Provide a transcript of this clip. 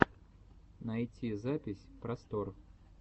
найти запись просторъ